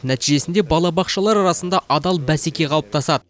нәтижесінде балабақшалар арасында адал бәсеке қалыптасады